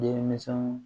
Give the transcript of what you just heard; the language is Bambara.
Denminsɛnw